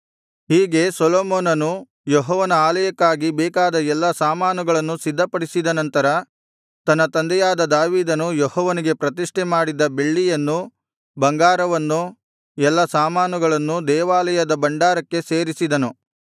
ಹೀಗೆ ಸೊಲೊಮೋನನು ಯೆಹೋವನ ಆಲಯಕ್ಕಾಗಿ ಬೇಕಾದ ಎಲ್ಲಾ ಸಾಮಾನುಗಳನ್ನು ಸಿದ್ಧಪಡಿಸಿದ ನಂತರ ತನ್ನ ತಂದೆಯಾದ ದಾವೀದನು ಯೆಹೋವನಿಗೆ ಪ್ರತಿಷ್ಠೆ ಮಾಡಿದ್ದ ಬೆಳ್ಳಿಯನ್ನು ಬಂಗಾರವನ್ನೂ ಎಲ್ಲಾ ಸಾಮಾನುಗಳನ್ನೂ ದೇವಾಲಯದ ಭಂಡಾರಕ್ಕೆ ಸೇರಿಸಿದನು